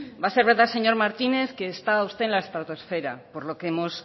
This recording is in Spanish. va a ser verdad señor martínez que está usted en la estratosfera por lo que hemos